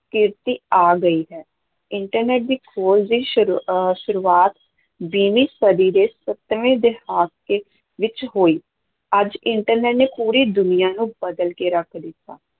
ਕ੍ਰਾਂਤੀ ਆ ਗਈ ਹੈ internet ਦੀ ਖੋਜ ਦੀ ਸ਼ੁਰੂ ਅਹ ਸ਼ੁਰੂਆਤ ਵੀਹਵੀਂ ਸਦੀ ਦੇ ਸੱਤਵੇਂ ਦਹਾਕੇ ਵਿੱਚ ਹੋਈ, ਅੱਜ internet ਨੇ ਪੂਰੀ ਦੁਨੀਆਂ ਨੂੰ ਬਦਲ ਕੇ ਰੱਖ ਦਿੱਤਾ।